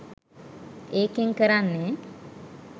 ඒකෙන් කරන්නේ